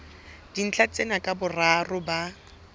dintlha tsena ka boraro ba